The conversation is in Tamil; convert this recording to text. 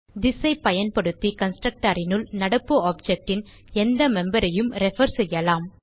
திஸ் ஐ பயன்படுத்தி கன்ஸ்ட்ரக்டர் னுள் நடப்பு ஆப்ஜெக்ட் ன் எந்த மெம்பர் யும் ரெஃபர் செய்யலாம்